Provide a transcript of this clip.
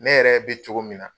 Ne yɛrɛ be cogo min na